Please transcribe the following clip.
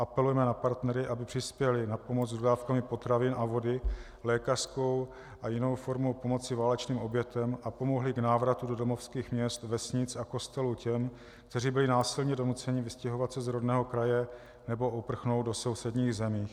Apelujeme na partnery, aby přispěli na pomoc s dodávkami potravin a vody, lékařskou a jinou formou pomoci válečným obětem a pomohli k návratu do domovských měst, vesnic a kostelů těm, kteří byli násilně donuceni vystěhovat se z rodného kraje nebo uprchnout do sousedních zemí.